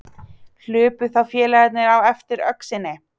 Hlupu þá félagarnir á eftir öxinni.